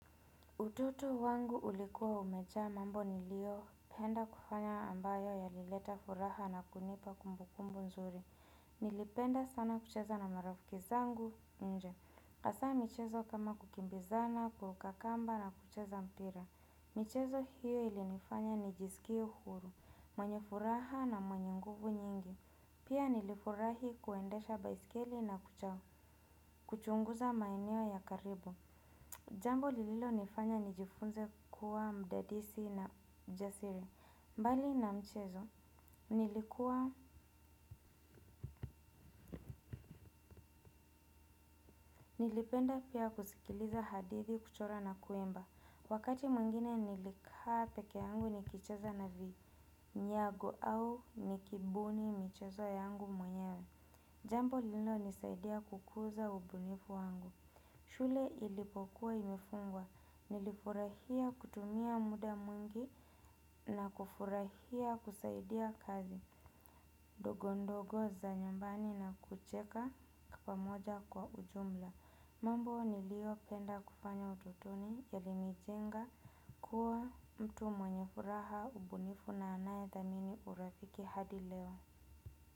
Utoto wangu ulikuwa umejaa mambo niliopenda kufanya ambayo yalileta furaha na kunipa kumbukumbu mzuri nilipenda sana kucheza na marafiki zangu nje. Hasa michezo kama kukimbizana, kuruka kamba na kucheza mpira. Michezo hiyo ilinifanya nijisikie huru, mwenye furaha na mwenye nguvu nyingi. Pia nilifurahi kuendesha baiskeli na kuchunguza maeneo ya karibu jambo lililonifanya nijifunze kuwa mdadisi na mjasiri mbali na mchezo nilikuwa nilipenda pia kusikiliza hadithi kuchora na kuimba wakati mwingine nilikaa pekee yangu nikicheza na vinyago au nikibuni mchezo yangu mwenyewe jambo lililo nisaidia kukuza ubunifu wangu shule ilipokuwa imefungwa nilifurahia kutumia muda mwingi na kufurahia kusaidia kazi ndogo ndogo za nyumbani na kucheka kwa pamoja kwa ujumla mambo nilio penda kufanya utotoni yalinijenga kuwa mtu mwenye furaha ubunifu na anaye thamini urafiki hadi leo.